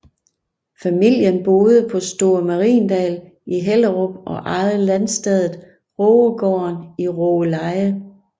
Familien boede på Store Mariendal i Hellerup og ejede landstedet Rågegården i Rågeleje